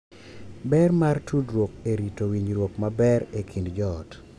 Ber mar tudruok e rito winjruok maber e kind joot